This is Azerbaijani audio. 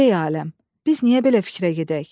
Qibleyi aləm, biz niyə belə fikrə gedək?